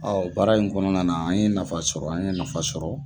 baara in kɔnɔna na an ye nafa sɔrɔ an ye nafa sɔrɔ.